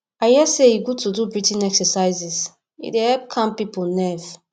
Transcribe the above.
i hear sey e good to do breathing exercises e dey calm pipo nerve